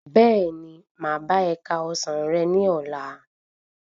Bẹ́ẹ̀ni, máa bá e ka ọsán rẹ ní ọlá.